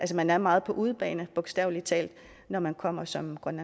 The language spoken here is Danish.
man er meget på udebane bogstaveligt talt når man kommer som